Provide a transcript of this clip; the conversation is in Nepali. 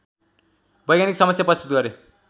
वैज्ञानिकसमक्ष प्रस्तुत गरे